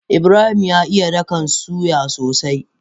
Ibrahim ya iya ɗakan soya sosai.